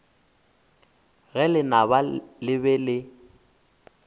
ge lenaba le be le